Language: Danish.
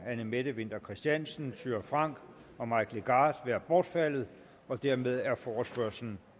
anne mette winther christiansen thyra frank og mike legarth bortfaldet hermed er forespørgslen